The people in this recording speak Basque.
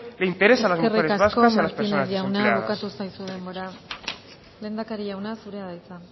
le interesa a las mujeres vascas y a las personas desempleadas eskerrik asko martínez jauna bukatu zaizu denbora lehendakari jauna zurea da hitza